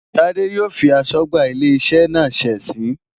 Tade yóò fi aṣọ́gbà ilé iṣẹ́ náà ṣe ẹ̀sín.